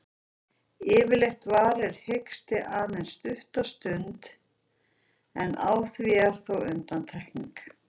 Yfirleitt varir hiksti aðeins stutta stund, en á því eru þó undantekningar.